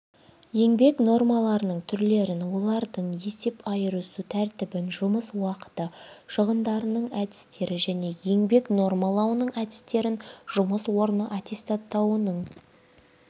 еңбек нормаларының түрлерін олардың есеп айырысу тәртібін жұмыс уақыты шығындарының әдістері мен еңбек нормалауының әдістерін жұмыс орны аттестатауының